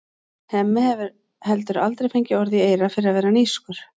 Hemmi hefur heldur aldrei fengið orð í eyra fyrir að vera nískur.